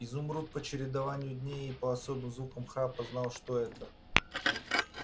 изумруд по чередованию дней и по особым звукам храпа знал что это